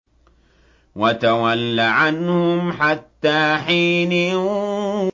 وَتَوَلَّ عَنْهُمْ حَتَّىٰ حِينٍ